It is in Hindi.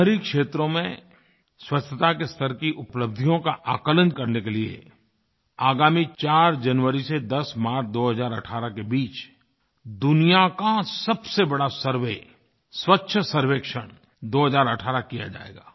शहरी क्षेत्रों में स्वच्छता के स्तर की उपलब्धियों का आकलन करने के लिए आगामी 4 जनवरी से 10 मार्च 2018 के बीच दुनिया का सबसे बड़ा सर्वे स्वच्छ सर्वेक्षण 2018 किया जाएगा